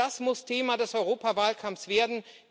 Das muss Thema des Europawahlkampfs werden.